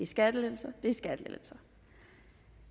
skattelettelser